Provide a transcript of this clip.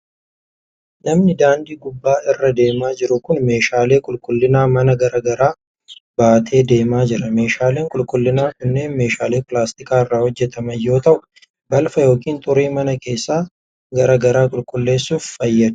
Namni daandii gubbaa irra deemaa jiru kun, meeshaalee qulqullina manaa garaa garaa baatee deemaa jira. Meeshaaleen qulqullinaa kunneen meeshaalee pilaastika irraa hojjataman yoo ta'u, balfa yookin xurii mana keessaa garaa garaa qulqulleessuuf fayyadu.